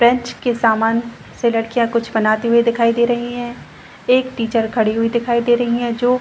French के सामान से लड़कियां कुछ बनाते हुए दिखाई दे रही है एक टीचर खड़ी हुई दिखाई दे रही है जो --